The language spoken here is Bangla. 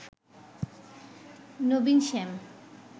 নবীন শ্যম।"